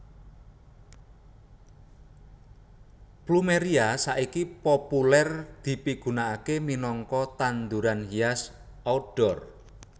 Plumeria saiki populèr dipigunakaké minangka tanduran hias outdoor